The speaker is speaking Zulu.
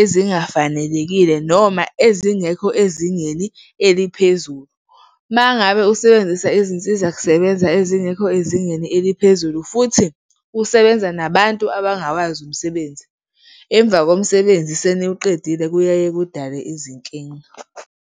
ezingafanelekile noma ezingekho ezingeni eliphezulu. Uma ngabe usebenzisa izinsizakusebenza ezingekho ezingeni eliphezulu futhi usebenza nabantu abangawazi umsebenzi, emva komsebenzi seniwuqedile kuyaye kudale izinkinga.